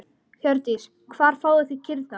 Hjördís: Hvar fáið þið kýrnar?